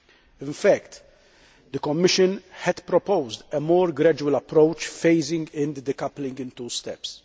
In fact, the Commission had proposed a more gradual approach, phasing in the decoupling in two steps.